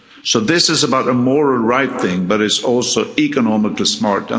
So this is about a morally right thing, but is also economically smart.